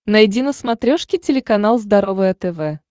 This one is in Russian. найди на смотрешке телеканал здоровое тв